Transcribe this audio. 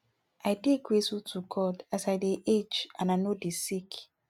i dey grateful to god as i dey age and i no dey sick